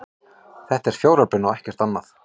Þetta er fjáröflun og ekkert annað